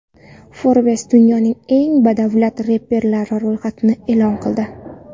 Forbes dunyoning eng badavlat reperlari ro‘yxatini e’lon qildi.